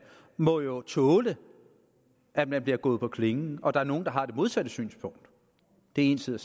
må jo tåle at man bliver gået på klingen og at der er nogle der har det modsatte synspunkt det er en side